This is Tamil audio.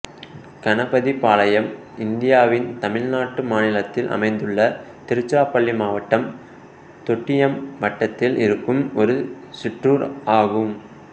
கணபதிபாளையம் இந்தியாவின் தமிழ்நாடு மாநிலத்தில் அமைந்துள்ள திருச்சிராப்பள்ளி மாவட்டம் தொட்டியம் வட்டதில் இருக்கும் ஒரு சிற்றூர் ஆகும்